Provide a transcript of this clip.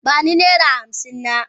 Ba ni naira hamsin na.